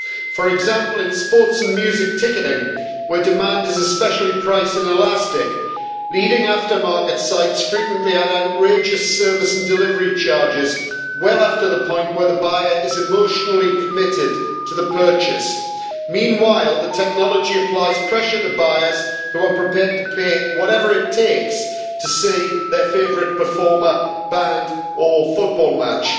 For example, in sports and music ticketing where demand is especially price inelastic leading aftermarket sites frequently add outrageous service and delivery charges well after the point where the buyer is emotionally committed to the purchase. Meanwhile, the technology applies pressure to buyers who are prepared to pay whatever it takes to see their favourite performer, band or football match.